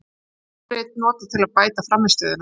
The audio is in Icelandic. Forrit notað til að bæta frammistöðuna